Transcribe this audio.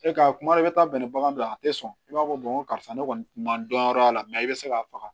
E ka kuma i bɛ taa bɛn ni bagan ye a tɛ sɔn i b'a fɔ karisa ne kɔni ma dɔn yɔrɔ la i bɛ se k'a faga